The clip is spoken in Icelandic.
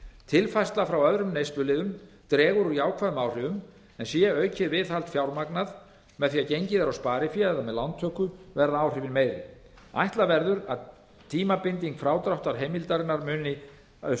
tilfærsla frá öðrum neysluliðum dregur úr jákvæðum áhrifum en sé aukið viðhald fjármagnað með því að gengið er á spariféð eða lántöku verða áhrifin meiri ætla verður að tímabinding frádráttarheimildarinnar muni